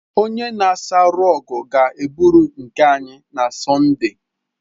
Onye na-asa rọgụ ga-eburu nke anyị na Sọnde.